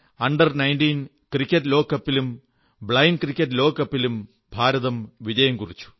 under 19 cricket ലോകകപ്പിലും blind cricket ലോകകപ്പിലും ഭാരതം വിജയം കുറിച്ചു